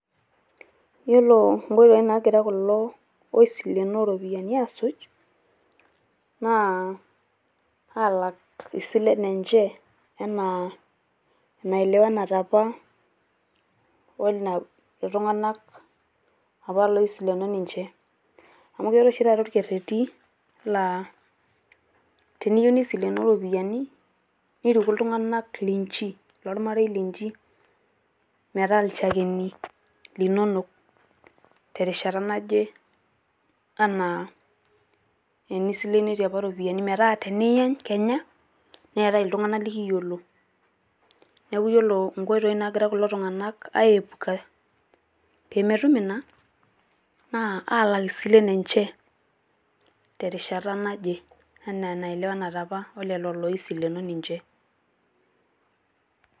Yiolo inkoitoi naagira kulo oisilenoo irropiyiani aasuj naa aalak isilen enche enaa enaelewanate apa o ina tung`anak apa oisileno ninche. Amu keetae oshi taata olkereti laa teniyieu nisilenoo iropiyiani niriku iltung`anak linchi ilo lmarei linchi metaa ilchakeni linonok terishata naje enaa enisilenoyie apa irropiyiani. Metaa teniyany kenya neeta iltung`anak likiyiolo. Niaku ore nkoitoi naagira kulo tung`anak ae puka pee metum ina naa alak isilen enche terishata naje enaa enaelewanate apa o lelo oisileno ninche.